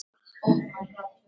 Vertu sæll, elsku mágur.